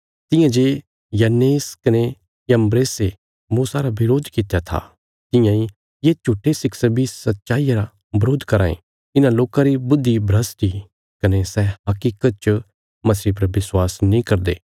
तियां जे यन्नेस कने यम्ब्रेसे मूसा रा बरोध कित्या था तियां इ ये झूट्ठे शिक्षक बी सच्चाईया रा बरोध कराँ ये इन्हां लोकां री बुद्धि भ्रष्ट इ कने सै हकीकत च मसीह पर विश्वास नीं करदे